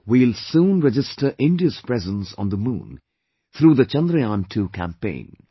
We will soon register India's presence on the moon through the Chandrayaan2 campaign